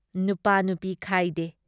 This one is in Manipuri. ꯅꯨꯄꯥ-ꯅꯨꯄꯤ ꯈꯥꯏꯗꯦ ꯫